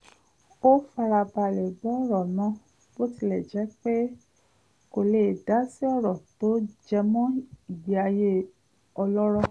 ó fara balẹ̀ gbọ́ ọ̀rọ̀ náà bó tilẹ̀ jẹ́ pé kò lè dásí ọ̀rọ̀ tó jẹmọ ìgbé ayé ọlọ́rọ̀